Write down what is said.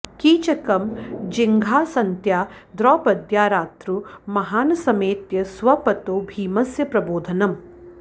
कीचकं जिघांसन्त्या द्रौपद्या रात्रौ महानसमेत्य स्वपतो भीमस्य प्रबोधनम्